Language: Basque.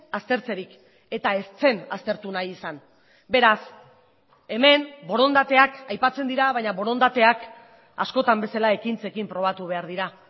aztertzerik eta ez zen aztertu nahi izan beraz hemen borondateak aipatzen dira baina borondateak askotan bezala ekintzekin probatu behar dira